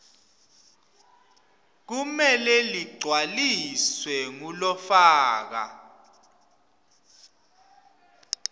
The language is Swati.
kumele ligcwaliswe ngulofaka